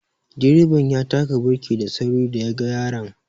Direban ya taka birki da sauri da ya ga yaran